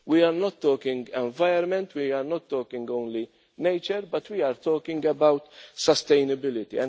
We are not talking environment, we are not talking only nature but we are talking about sustainability.